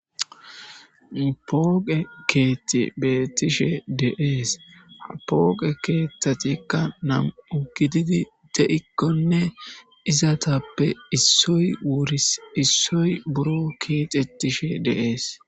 pooqe keethi beettishe de'ees ha pooqe keeththatikka nam'u gididi de'ikkonne izatappe issoy wuris issoy buro keexetishe de'ees